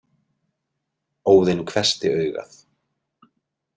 Óðinn hvessti augað.